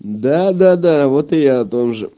да-да-да вот и я о том же